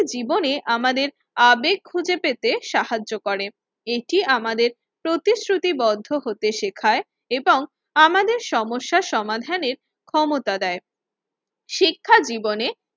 জীবনে আমাদের আবেগ খুঁজে পেতে সাহায্য করে। এটি আমাদের প্রতিশ্রুতিবদ্ধ হতে শেখায় এবং আমাদের সমস্যার সমাধানের ক্ষমতা দেয়। শিক্ষাজীবনে